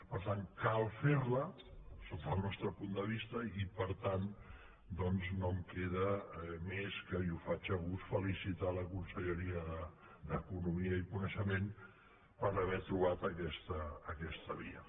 per tant cal fer la sota el nostre punt de vista i per tant doncs no em queda més que i ho faig a gust felicitar la conselleria d’economia i coneixement per haver trobat aquesta via